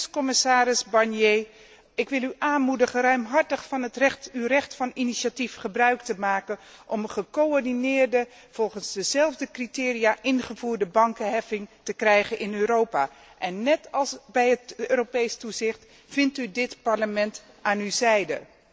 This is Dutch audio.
Dus, commissaris Barnier, ik wil u aanmoedigen ruimhartig van uw recht van initiatief gebruik te maken om een gecoördineerde, volgens dezelfde criteria ingevoerde bankenheffing in Europa te krijgen, en net als bij het Europees toezicht, vindt u dit Parlement aan uw zijde.